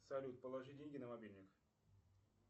салют положи деньги на мобильник